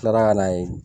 Tila ka na yen